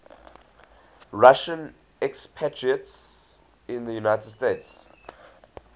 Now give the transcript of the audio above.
russian expatriates in the united states